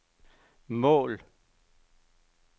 mål